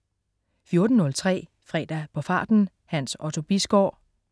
14.03 Fredag på farten. Hans Otto Bisgaard